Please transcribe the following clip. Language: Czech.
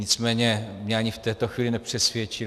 Nicméně mě ani v této chvíli nepřesvědčil.